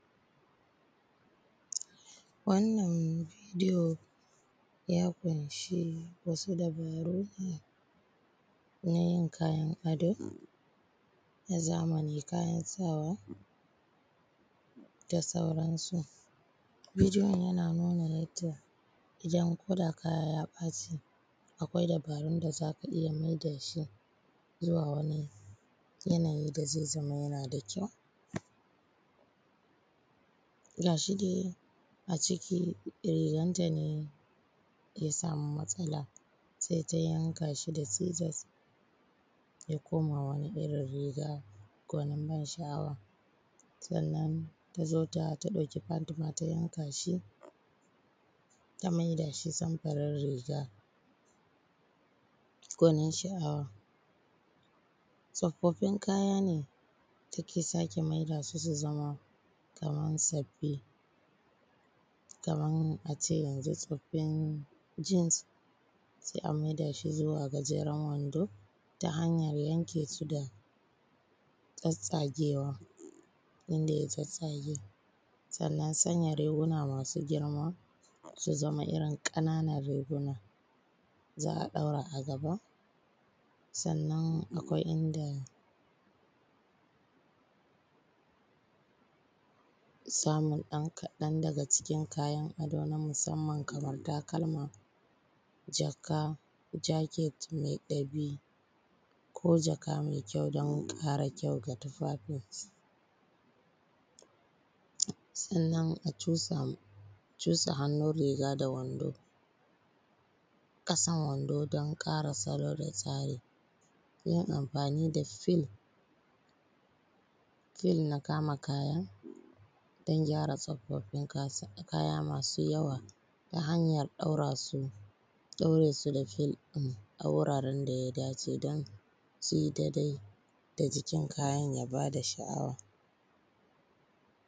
Wannan bidiyo, ya ƙunshi wasu dabaru, na yin kayan ado, na zamani, kayan sawa da sauransu. Bidiyon yana nuna yadda idan ko da kaya ya ɓaci, akwai dabarun da za ka iya mai da shi zuwa wani yanayi da zai zama yana da kyau. Ga shi dai a ciki riganta ne ya samu matsala, sai ta yanka shi da sizos ya koma wani irin riga gwanin ban sha’awa. Sannan ta zo ta, ta ɗauki pant ma ta yanka shi, ta mai da shi samfurin riga gwanin sha’awa. Tsofaffin kaya ne, take sake maida su zama kaman sabbi. Kaman a ce yanzu tsoffin jins, sai a mai da shi zuwa gajeren wando ta hanyar yanke su da tsattsagewa inda ya tsattsage. Sannan sanya riguna masu girma su zama irin ƙananan riguna, za a ɗaura a gaba. Sannan akwai inda samun ɗan kaɗan daga cikin kayan ado na musamman kaman takalma, jaka, jaket mai ɗabi, ko jaka mai kyau don ƙara kyau ga tufafin. Sannan a cusa, cusa hannun riga da wando, ƙasan wando don ƙara salo da tsari. Yin amfani da fil, fil na kama kaya, don gyara tsofaffin kaya masu yawa ta hanyar ɗaura su ɗaure su da fil ɗin a wuraren da ya dace don su yi daidai da jikin kayan ya ba da sha’awa.